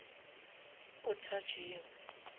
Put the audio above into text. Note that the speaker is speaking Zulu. othajeyo